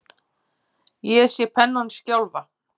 Ég sé pennann skjálfa.